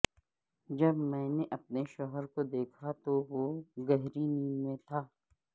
جب میں نے اپنے شوہر کو دیکھا تو وہ گہری نیند میں تھا